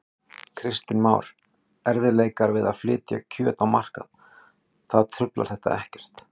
Kristján Már: Erfiðleikar við að flytja kjöt á markað, það truflar þetta ekkert?